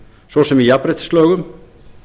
svo sem í jafnréttislögum